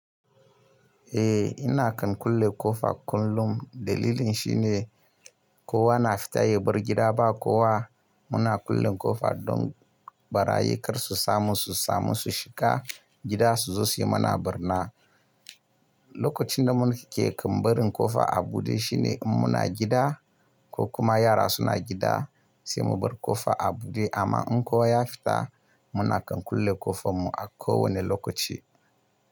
Eh ina kan kulle ƙofa kullum, dalilin shi ne kowa na fita ya bar gida ba kowa. Muna kulle ƙofa don ɓarayi kar su samu su samu su shiga gida su zo su yi mana barna. Lokacin da muke kambarin ƙofa a buɗe shine in muna gida ko kuma yara suna gida sai mu bar ƙofa a buɗe amma in kowa ya fita muna kan kulle ƙofar mu a kowane lokaci.